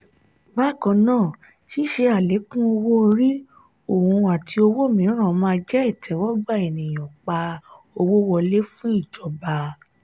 bákannáà ṣíṣe alekun owó-orí ohùn àti owó míràn má jẹ itẹwọgbà ènìyàn pa owó wọlé fún ìjọba.